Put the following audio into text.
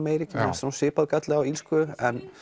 Eiríki mér fannst svipaður galli á illsku